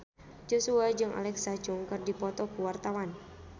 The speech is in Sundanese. Joshua jeung Alexa Chung keur dipoto ku wartawan